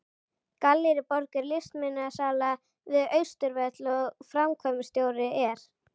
Gallerí Borg er listmunasala við Austurvöll og framkvæmdastjóri er